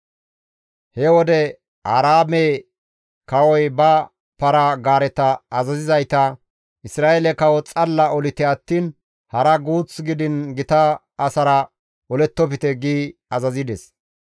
He wode Aaraame kawoy ba para-gaareta azazizayta, «Isra7eele kawo xalla olite attiin hara guuth gidiin gita asara olettofte» gi azazides.